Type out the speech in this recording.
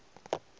ka se ke wa ba